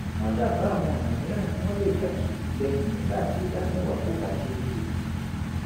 wọ́n dábàá àwọn ọ̀nà mìíràn tí wọ́n lè gbà ṣètìlẹ́yìn nígbà tí ìdá mẹ́wàá kò bá ṣeé ṣe